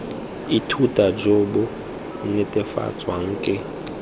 ithuta jo bo netefatswang ke